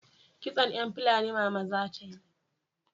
Kitson yan Fulani mama za ta yi